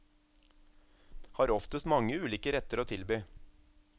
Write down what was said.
Har oftest mange ulike retter å tilby.